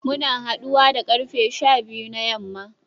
Muna haduwa da karfe sha biyu na yamma